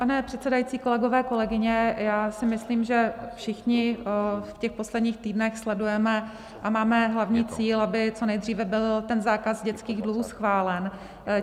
Pane předsedající, kolegové, kolegyně, já si myslím, že všichni v těch posledních týdnech sledujeme a máme hlavní cíl, aby co nejdříve byl ten zákaz dětských dluhů schválen.